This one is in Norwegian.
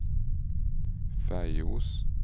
Feios